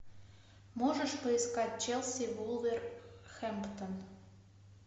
можешь поискать челси вулверхэмптон